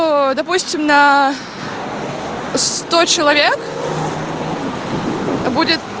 о допустим на сто человек будет